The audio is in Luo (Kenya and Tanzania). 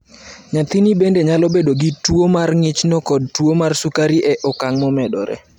Nyathini bende nyalo bedo gi tuwo mar ng'ichno kod tuwo mar sukari e okang' momedore.